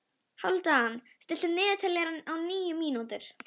Þetta er mikil ábyrgð sem hefur hvílt á mér síðan.